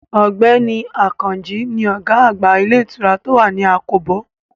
Ọ̀gbẹ́ni Àkànjí ni ọ̀gá àgbà ilé ìtura tó wà ní àkóbò